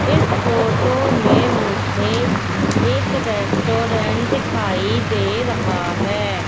इस फोटो में मुझे एक रेस्टोरेंट दिखाई दे रहा है।